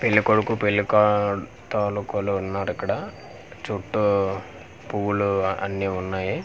పెళ్ళికొడుకు పెళ్ళికాటాలుకొలు ఉన్నారిక్కడ చుట్టూ పువ్వులు అన్నీ ఉన్నాయి.